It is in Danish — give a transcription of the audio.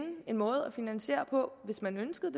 en måde at finansiere på hvis man ønskede